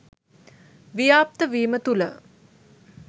ව්‍යාප්ත වීම තුළ